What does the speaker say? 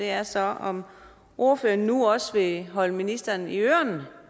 er så om ordføreren nu også vil holde ministeren i ørerne